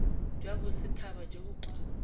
jwa bosethaba jo bo kwa